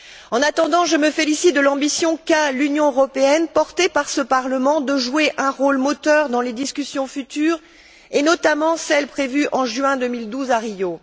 En attendant, je me félicite de l'ambition qu'a l'Union européenne, portée par ce Parlement, de jouer un rôle moteur dans les discussions futures et, notamment, celles prévues en juin 2012 à Rio.